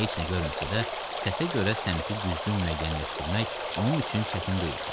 Heç nə görməsə də, səsə görə səmtini düzgün müəyyənləşdirmək onun üçün çətin deyildi.